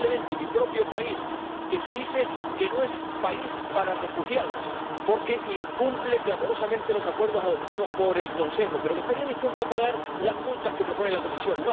lamentablemente, mi propio país, del que se dice que no es país para refugiados porque incumple clamorosamente los acuerdos adoptados por el Consejo, pero que estaría dispuesto a pagar las multas que propone la Comisión.